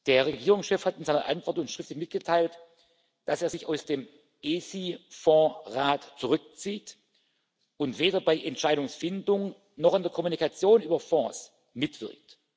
Der Regierungschef hat uns in seiner Antwort schriftlich mitgeteilt, dass er sich aus dem ESI Fonds Rat zurückzieht und weder bei der Entscheidungsfindung noch an der Kommunikation über Fonds mitwirkt.